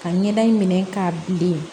Ka ɲɛda in minɛ k'a bilen